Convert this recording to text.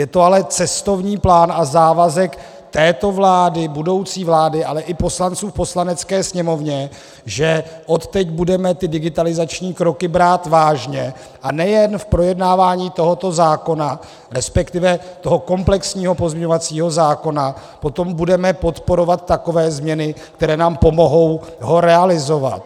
Je to ale cestovní plán a závazek této vlády, budoucí vlády, ale i poslanců v Poslanecké sněmovně, že odteď budeme ty digitalizační kroky brát vážně, a nejen v projednávání tohoto zákona, respektive toho komplexního pozměňovacího zákona , potom budeme podporovat takové změny, které nám pomohou ho realizovat.